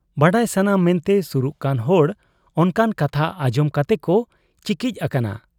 ᱵᱟᱰᱟᱭ ᱥᱟᱱᱟ ᱢᱮᱱᱛᱮ ᱥᱩᱨᱩᱜ ᱠᱟᱱ ᱦᱚᱲ ᱚᱱᱠᱟᱱ ᱠᱟᱛᱷᱟ ᱟᱸᱡᱚᱢ ᱠᱟᱛᱮᱠᱚ ᱪᱤᱠᱤᱡ ᱟᱠᱟᱱᱟ ᱾